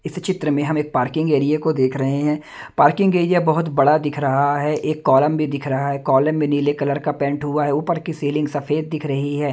इस चित्र में हम एक पार्किंग एरिया को देख रहे हैं पार्किंग एरिया बहुत बड़ा दिख रहा है एक कॉलम भी दिख रहा है कॉलम में नीले कलर का पेंट हुआ है ऊपर की सीलिंग सफेद दिख रही है।